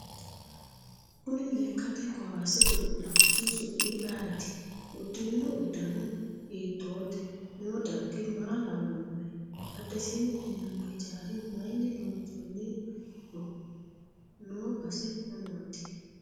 Kuni lekkate kowaase godolaanch su'mi ayiiti uddirino uddano hiitoote noo darggi maa lawannohe badhesiini leelanno hijaara mayiini loonsooniho noo base mamaati